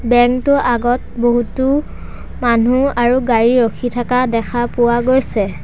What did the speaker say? Bank টোৰ আগত বহুতো মানুহ আৰু গাড়ী ৰখি থকা দেখা পোৱা গৈছে।